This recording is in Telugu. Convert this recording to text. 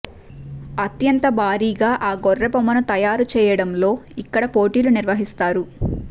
అత్యంత భారీగా ఆ గొర్రె బొమ్మను తయారు చేయడంలో ఇక్కడ పోటీలు నిర్వహిస్తారు